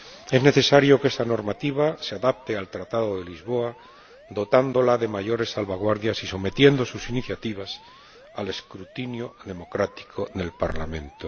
Es necesario que esa normativa se adapte al Tratado de Lisboa dotándola de mayores salvaguardias y sometiendo sus iniciativas al escrutinio democrático en el Parlamento.